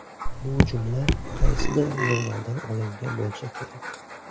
Bu jumla qaysidir jurnaldan olingan bo‘lsa kerak.